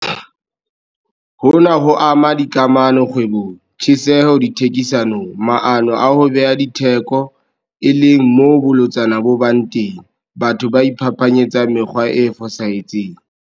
Hona ho ama dikamano kgwebong, tjheseho dithekisanong, maano a ho beha ditheko, e leng moo bolotsana bo bang teng, batho ba iphapanyetsang mekgwa e fosahetseng.